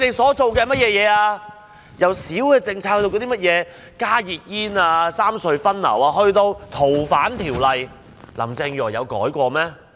從細微的政策如"加熱煙"、"三隧分流"，以至《逃犯條例》的修訂，林鄭月娥有改變過嗎？